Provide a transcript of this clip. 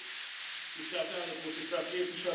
Tisztelt Elnök Úr, Tisztelt Képviselők!